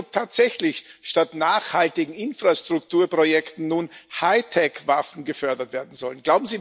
Ich frage mich, ob tatsächlich statt nachhaltigen Infrastrukturprojekten nun Hightech Waffen gefördert werden sollen.